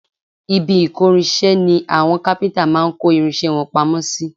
Ibi ìkórinṣẹ́ ni àwọn kápíntà máa ń kó irinṣẹ́ wọn pamọ́ sí